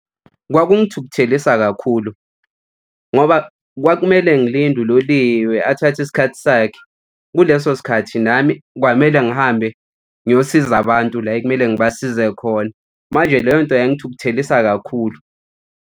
Kwakungithukuthelisa kakhulu ngoba kwakumele ngilinde uloliwe athathe isikhathi sakhe. Kuleso sikhathi nami kwamele ngihambe ngiyosiza abantu la ekumele ngibasize khona. Manje leyo nto yangithukuthelisa kakhulu.